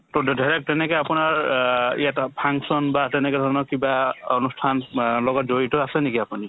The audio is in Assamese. to তে ধৰক তেনেকে আপোনাৰ অ ইয়াত অ function বা তেনেকুৱা ধৰণৰ কিবা অনুষ্ঠান আ লগত জড়িত আছে নেকি আপুনি ?